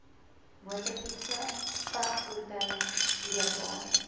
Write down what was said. motorfietse vragvoertuie sleepwaens